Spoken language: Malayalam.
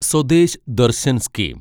സ്വദേശ് ദർശൻ സ്കീം